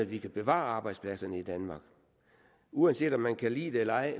vi kan bevare arbejdspladserne i danmark uanset om man kan lide det eller ej